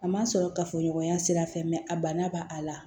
A ma sɔrɔ kafoɲɔgɔnya sira fɛ a bana b'a a la